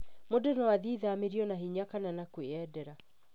Mũndũ no athiĩ ithamĩrio na hinya kana na kwĩyendera.